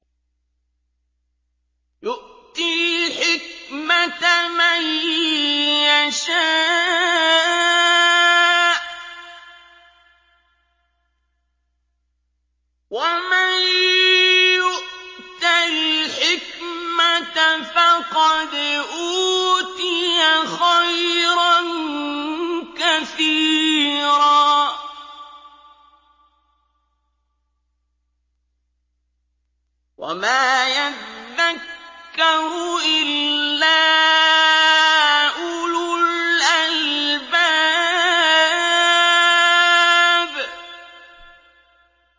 يُؤْتِي الْحِكْمَةَ مَن يَشَاءُ ۚ وَمَن يُؤْتَ الْحِكْمَةَ فَقَدْ أُوتِيَ خَيْرًا كَثِيرًا ۗ وَمَا يَذَّكَّرُ إِلَّا أُولُو الْأَلْبَابِ